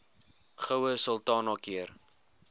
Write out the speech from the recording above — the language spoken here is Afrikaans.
goue sultana keur